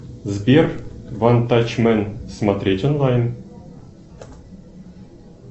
сбер ван тач мен смотреть онлайн